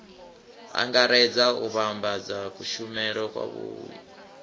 angaredza u vhambedza kushumele kwavhui